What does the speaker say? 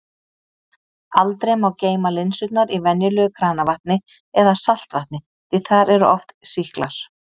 Aldrei má geyma linsurnar í venjulegu kranavatni eða saltvatni því þar eru oft sýklar.